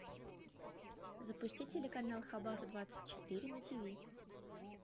запусти телеканал хабар двадцать четыре на тв